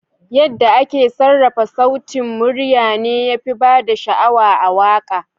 Yadda ake sarrafa sautin murya ne yafi bada sha'awa a waka.